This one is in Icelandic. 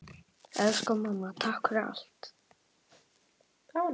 Elsku mamma. takk fyrir allt.